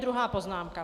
Druhá poznámka.